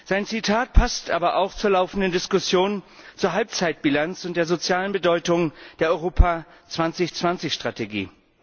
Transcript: Sein Zitat passt aber auch zur laufenden Diskussion über die Halbzeitbilanz und die soziale Bedeutung der Europa 2020 Strategie.